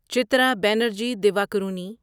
Chitra Banerjee Divakaruni